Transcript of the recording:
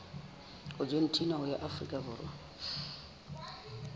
argentina ho ya afrika borwa